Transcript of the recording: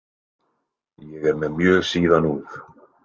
Ég er með mjög síðan úf.